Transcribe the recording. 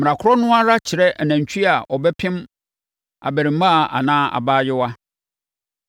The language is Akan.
Mmara korɔ no ara kyere nantwie a ɔbɛpem abarimaa anaa abaayewa.